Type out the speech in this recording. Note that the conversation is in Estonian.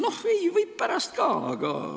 Noh, ei, võib pärast ka, aga ...